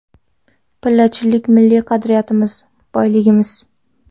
Pillachilik milliy qadriyatimiz, boyligimiz.